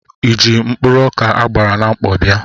Ịji mkpụrụ ọkà a gbara na mkpọ bịa?